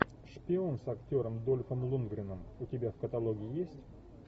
шпион с актером дольфом лундгреном у тебя в каталоге есть